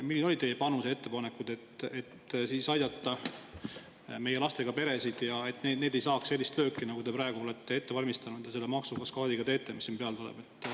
Millised olid teie panus ja ettepanekud, et aidata meie lastega peresid, et nad ei saaks sellist lööki, nagu te praegu olete ette valmistanud ja selle maksukaskaadiga teete?